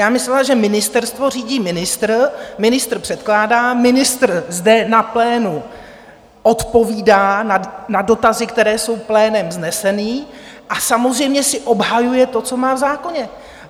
Já myslela, že ministerstvo řídí ministr, ministr předkládá, ministr zde na plénu odpovídá na dotazy, které jsou plénem vzneseny, a samozřejmě si obhajuje to, co má v zákoně.